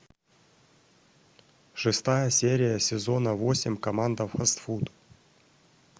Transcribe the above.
шестая серия сезона восемь команда фастфуд